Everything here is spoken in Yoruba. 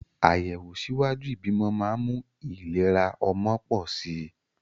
Àyẹ̀wò ṣíwájú ìbímọ máa ń mú ìlera ọmọ pọ̀ sí i